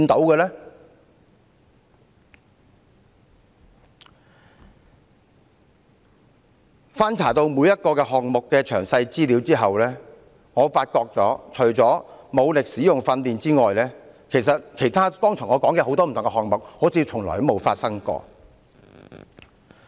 經我翻查每一項項目的詳細資料後，我發現除了武力使用的訓練外，我剛才提到的很多其他不同項目，好像從來也沒有發生過。